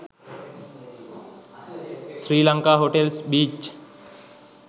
sri lanka hotels beach